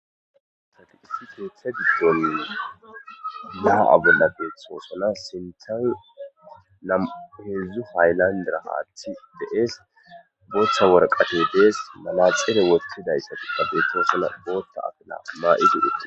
Tadi issi keeththa diddonin maa abolla beethtxosana sintan namuheedzdzu hayllandira haatti de'es bochcha worqate dees malaxeere wotidayssati da beetosona bootta afina maa'i didhete